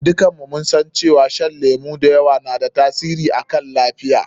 Duka mun san cewa shan lemu da yawa na da tasiri akan lafiya.